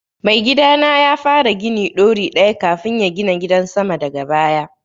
Mai gidana ya fara gini ɗori ɗaya kafun ya gina gidan sama daga baya